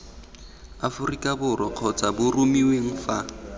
aforika borwa kgotsa boromiweng fa